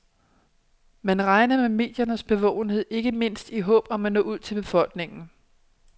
Man regner med mediernes bevågenhed, ikke mindst i håb om at nå ud til befolkningen.